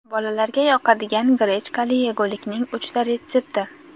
Bolalarga yoqadigan grechkali yegulikning uchta retsepti.